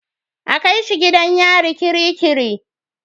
A kai shi gidan yari kirikiri.